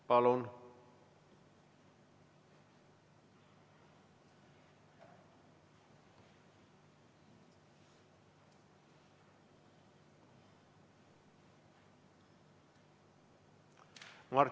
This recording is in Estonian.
Palun!